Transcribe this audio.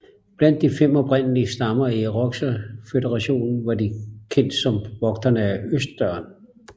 Blandt de fem oprindelige stammer i Irokeserføderationen var de kendt som Vogterne af Østdøren